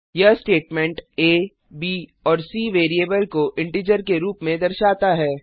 यह statement a b और c variable को इंटीजर के रूप में दर्शाता है